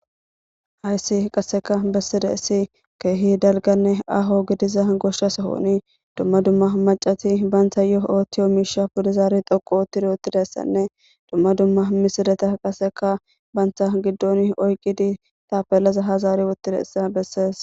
Hayssi qaseka besidaysi keehi dalganne aaho gidida gosha sohon dumma dummaba macati bantayo otiyo misha pude zaro xoqu oti utidaysann e dumma dummaba misuleta qaseka banta gidon oyikida tapelaza ha zari oykidaysa beses